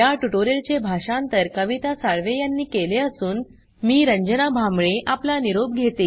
या ट्यूटोरियल चे भाषांतर कविता साळवे यांनी केले असून मी रंजना भांबळे आपला निरोप घेते